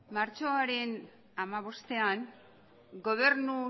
martxoaren hamabostean gobernu